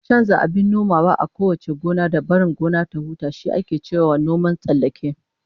Chanza abin nomawa a kowace gona, da barin gona ta huta, shi ake cewa noman tsallake